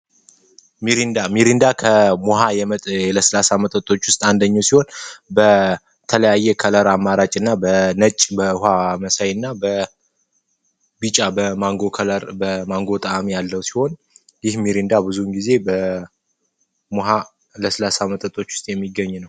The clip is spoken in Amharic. ሚሪንዳ ሚሪንዳ ከሙሃመድ የስላሳ መጠጦች ውስጥ አንደኛው ሲሆን በተለያየ ከለር አማራጭ እና በነጭ በውሃ መሳይና በ ጫ በማንጎ ከለር በማንጎ ያለው ሲሆን ይህን ጊዜ በ ሃ ለስላሳ መጠጦች ውስጥ የሚገኝ ነው